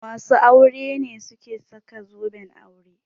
Masu aure ne suke saka zoben aure.